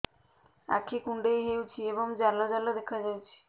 ଆଖି କୁଣ୍ଡେଇ ହେଉଛି ଏବଂ ଜାଲ ଜାଲ ଦେଖାଯାଉଛି